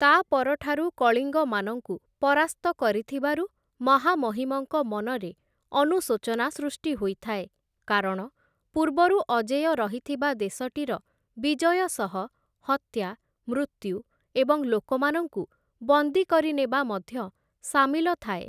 ତା'ପରଠାରୁ କଳିଙ୍ଗମାନଙ୍କୁ ପରାସ୍ତ କରିଥିବାରୁ, ମହାମହିମଙ୍କ ମନରେ ଅନୁଶୋଚନା ସୃଷ୍ଟି ହୋଇଥାଏ କାରଣ ପୂର୍ବରୁ ଅଜେୟ ରହିଥିବା ଦେଶଟିର ବିଜୟ ସହ ହତ୍ୟା, ମୃତ୍ୟୁ ଏବଂ ଲୋକମାନଙ୍କୁ ବନ୍ଦୀ କରି ନେବା ମଧ୍ୟ ସାମିଲ ଥାଏ ।